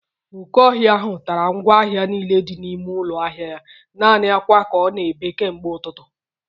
Oke ọhịa ahụ tara ngwa ahịa niile dị n'ime ụlọ ahịa ya. Naanị akwa ka ọ na-ebe kemgbe ụtụtụ